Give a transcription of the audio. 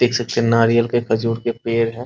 देख सकते हैं नारियल के खजूर के पेड़ हैं ।